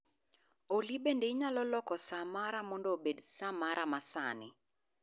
Olly bende inyalo loko saa mara mondo obed saa mara ma sani